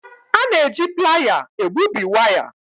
A na-eji Playa egbubi waya.